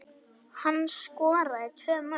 Hann skoraði tvö mörk